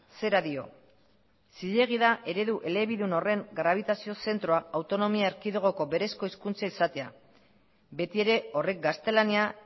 zera dio zilegi da eredu elebidun horren grabitazio zentroa autonomia erkidegoko berezko hizkuntza izatea beti ere horrek gaztelania